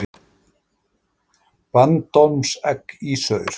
Bandormsegg í saur.